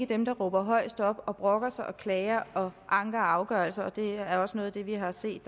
dem der råber højest og brokker sig og klager og anker afgørelser og det er også noget af det vi har set